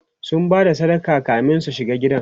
sun Bada sadaka kamin su shiga gidan